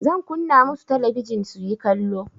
Zan kunna musu talabijin suyi kallo.